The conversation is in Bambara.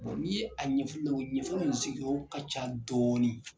n'i ye a ɲɛfɔ u ɲɛna ɲɛfɔli in sigiyɔrɔ ka ca dɔɔnin.